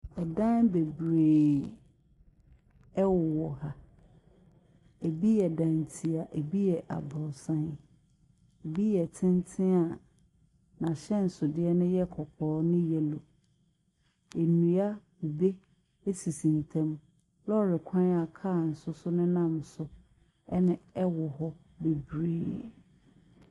Dan bebree wowɔ ha, bi yɛ dantia, bi yɛ abrɔsan, bi yɛ tenten a n’ahyɛnsodeɛ yɛ kɔkɔɔ ne yellow. Nnua, kube sisi wɔn ntam. Lɔɔre kwan a kaa nso nenam so ɛne wɔ hɔ bebree.